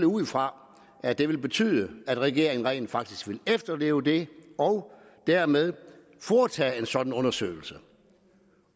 ud fra at det vil betyde at regeringen rent faktisk vil efterleve det og dermed foretage en sådan undersøgelse